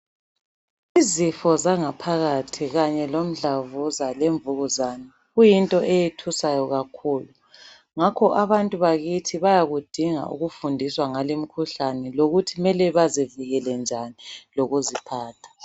Izifo zangaphakathi kanye lomdlavuza lemvukuzane, kuyinto eyethusayo kakhulu, ngakho abantu bakithi bayakudinga ukufundiswa ngalimkhuhlane lokuthi mele bazivikele njani lokuziphatha.